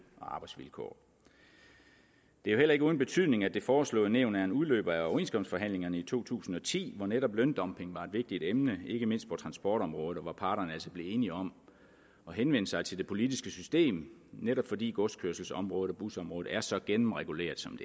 og arbejdsvilkår det er jo heller ikke uden betydning at det foreslåede nævn er en udløber af overenskomstforhandlingerne i to tusind og ti hvor netop løndumping var et vigtigt emne ikke mindst på transportområdet og hvor parterne altså blev enige om at henvende sig til det politiske system fordi godskørselsområdet og busområdet er så gennemreguleret som